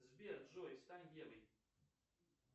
сбер джой стань евой